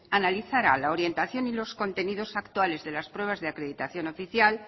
analizara la orientación y los contenidos actuales de las pruebas de acreditación oficial